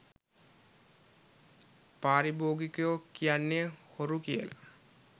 පාරිභෝගිකයො කියන්නෙ හොරු කියලා.